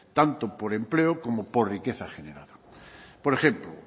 tanto por empleo como por riqueza generado por ejemplo